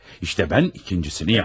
İşte mən ikincisini yapdım.